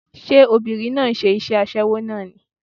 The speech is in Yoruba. Ṣé obìnrin náà ń ṣe iṣẹ́ aṣẹ́wó náà ni?